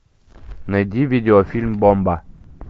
найди видеофильм бомба